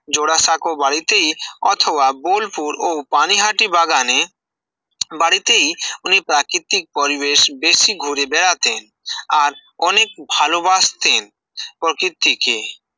জোড়াসাঁকো বাড়িতেই অথবা বোলপুর ও পানিহাটি বাগানে বাড়িতেই উনি প্রাকৃতিক পরিবেশ বেশি ঘুরে বেড়াতেন আর অনেক ভালবাসতেন প্রকৃতিকে